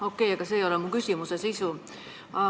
Aga okei, see ei ole mu küsimuse sisu.